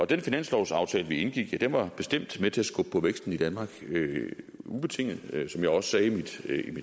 den finanslovsaftale vi indgik var bestemt med til at skubbe på væksten i danmark ubetinget som jeg også sagde i mit